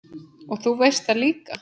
Og þú veist það líka.